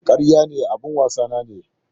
A'a, karya ne, abin wasa nawa ne.